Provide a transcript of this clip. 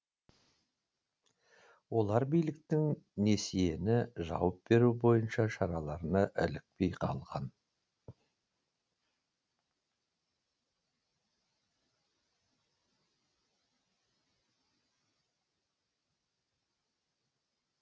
олар биліктің несиені жауып беру бойынша шараларына ілікпей қалған